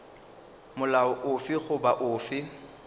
ya molao ofe goba ofe